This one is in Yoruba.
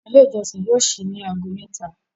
Ilé ìjósìn yóò síi ní aago méta.